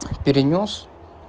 перенёс